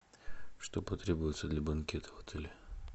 что потребуется для банкета в отеле